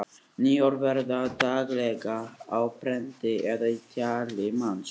Ný orð verða til daglega á prenti eða í tali manna.